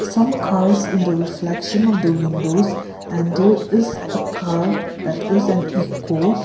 some cars in the reflection of the windows and is a car that is an echo.